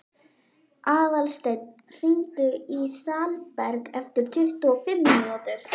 Aðalsteinn, hringdu í Salberg eftir tuttugu og fimm mínútur.